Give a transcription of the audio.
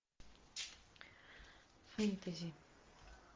фэнтези